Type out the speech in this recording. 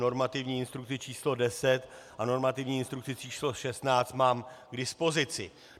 Normativní instrukci číslo 10 a normativní instrukci číslo 16 mám k dispozici.